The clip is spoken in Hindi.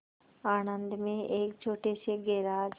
आणंद में एक छोटे से गैराज